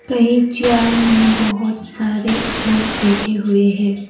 कहीं जार में बहुत सारे लोग बैठे हुए हैं।